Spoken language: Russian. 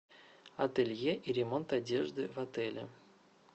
ателье и ремонт одежды в отеле